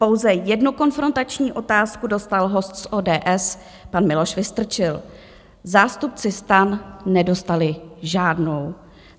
Pouze jednu konfrontační otázku dostal host z ODS, pan Miloš Vystrčil, zástupci STAN nedostali žádnou.